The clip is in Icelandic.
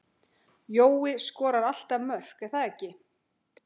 Jói skorar alltaf mörk er það ekki?